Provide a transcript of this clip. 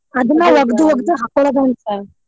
ಹಾಕ್ಕೊಳ್ಳೊದಂತ.